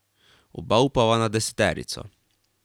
Oba upava na deseterico.